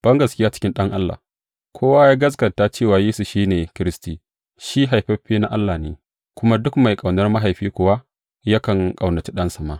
Bangaskiya cikin Ɗan Allah Kowa ya gaskata cewa Yesu shi ne Kiristi, shi haifaffe na Allah ne, kuma duk mai ƙaunar mahaifi kuwa, yakan ƙaunaci ɗansa ma.